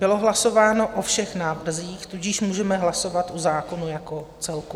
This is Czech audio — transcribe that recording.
Bylo hlasováno o všech návrzích, tudíž můžeme hlasovat o zákonu jako celku.